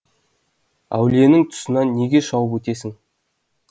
әулиенің тұсынан неге шауып өтесің